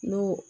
N'o